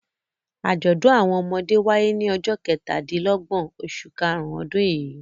Àjọ̀dún àwọn ọmọdé wáyé ní ọjọ́ kẹtàdínlọ́gbọ̀n oṣù karùn-ún ọdún yìí.